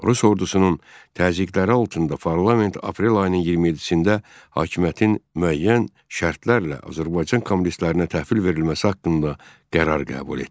Rus ordusunun təzyiqləri altında Parlament aprel ayının 27-də hakimiyyətin müəyyən şərtlərlə Azərbaycan kommunistlərinə təhvil verilməsi haqqında qərar qəbul etdi.